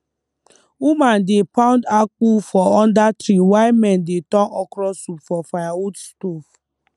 woman dey pound akpu for under tree while men dey turn okra soup for firewood stove